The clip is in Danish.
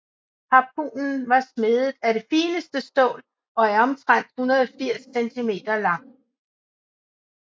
Harpunen var smedet af det fineste stål og er omtrent 180 cm lang